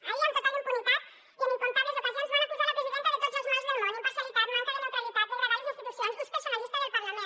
ahir amb total impunitat i en incomptables ocasions van acusar la presidenta de tots els mals del món imparcialitat manca de neutralitat degradar les institucions ús personalista del parlament